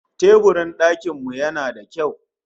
Teburin dakin mu yana da kyau